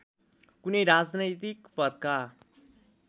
कुनै राजनैतिक पदका